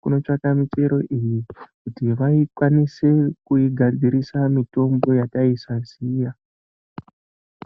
kunotsvaka michero iyi kuti vaikwanise kuigadzirisa mitombo yatai saziya